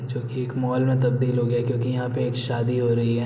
जोकि एक मॉल में तब्दील हो गया है क्यूंकि यहाँ पे एक शादी हो रही है।